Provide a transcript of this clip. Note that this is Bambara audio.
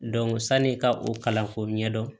san'i ka o kalanko ɲɛdɔn